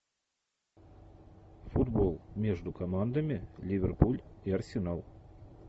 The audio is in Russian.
футбол между командами ливерпуль и арсенал